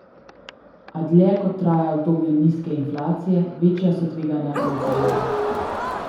A dlje kot traja obdobje nizke inflacije, večja so tveganja, je opozoril.